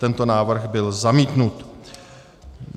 Tento návrh byl zamítnut.